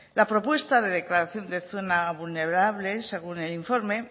la propuesta de declaración de zona vulnerable según el informe